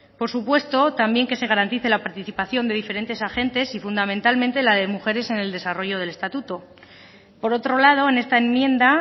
por supuesto también que se garantice la participación de diferentes agentes y fundamentalmente la de mujeres en el desarrollo del estatuto por otro lado en esta enmienda